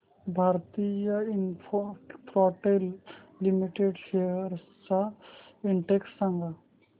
Bharti Infratel limited shares चा index सांगा